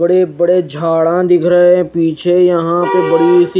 बड़े बड़े झाडा दिख रहे है पीछे यहा बड़ी सी--